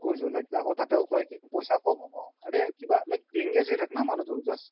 like আকৌ তাতেও কই কি পইচা ক্'ম হ্'ব আৰে কিবা engage হয় থাক ন মানুহতো just